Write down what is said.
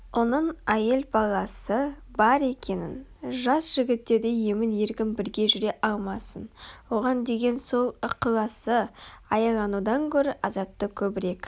оның әйел-баласы бар екенін жас жігіттердей емін-еркін бірге жүре алмасын оған деген сол ықыласы аяланудан гөрі азапты көбірек